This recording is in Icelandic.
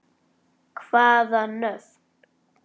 Hvaða nöfn?